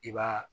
I b'a